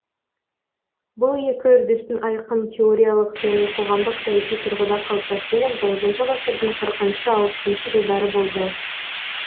бұл екі үрдістің айқын теориялық және қоғамдық саяси тұрғыда қалыптасуы он тоғызыншы ғасырдың ғасырдың қырықыншы алпысыншы жылдары болды